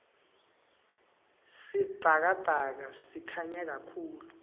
sibhakabhaka sikhanya kahulu